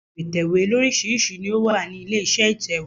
Ohun èlò ìtẹ̀wé lóríṣirísi ni ó wà nílé iṣẹ́ ìtẹ̀wẹ́.